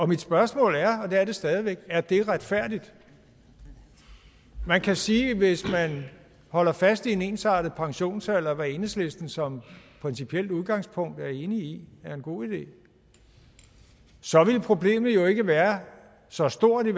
mit spørgsmål er og det er det stadig væk er det retfærdigt man kan sige at hvis man holder fast i en ensartet pensionsalder hvad enhedslisten som principielt udgangspunkt er enig i er en god idé så ville problemet jo ikke være så stort